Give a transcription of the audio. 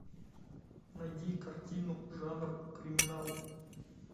найди картину жанр криминал